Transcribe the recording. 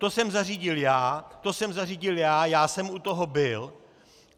To jsem zařídil já, to jsem zařídil já, já jsem u toho byl.